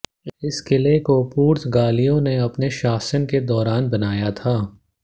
इस किले को पुर्तगालियों ने अपने शासन के दौरान बनाया था